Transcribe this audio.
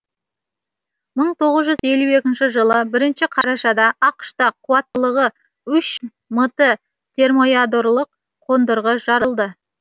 мың тоғыз жүз елу екінші жылы бірінші қарашада ақш та қуаттылығы үш мт термоядролық қондырғы жарылды